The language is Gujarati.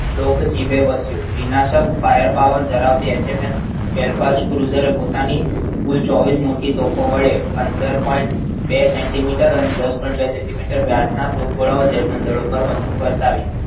લોક જીભ એ વશ્યુ વિનાશક fire power ધરાવતી એસએમએસ well fast user પોતાની કુલ ચોવીસ મોટી ટોપો વડે પંદર પોઈન્ટ બે સેન્ટીમીટર અને દસ પોઈન્સેટ બેન્ટીમીટર વ્યાજના ટોપ ઘોડાઓ German પર વર્ષાવી